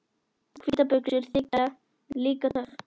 Hvítar buxur þykja líka töff.